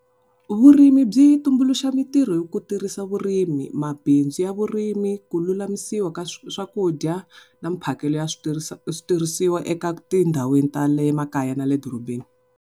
Vurimi byi tumbuluxa mintirho hi ku tirhisa vurimi mabindzu ya vurimi, ku lulamisiwa ka swakudya na mphakelo ya switirhisiwa eka tindhawini ta le makaya na le edorobeni.